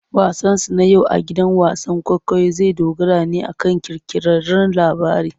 Wasansu na yau a gidan wasan kwaikwayo zai dogara ne akan kirkirarren labari.